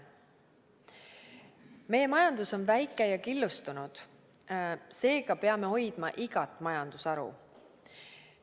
Meie majandus on väike ja killustunud, seega peame hoidma igat majandusharu.